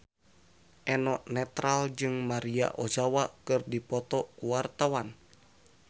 Eno Netral jeung Maria Ozawa keur dipoto ku wartawan